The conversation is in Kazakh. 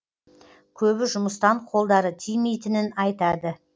көбі жұмыстан қолдары тимейтінін айтады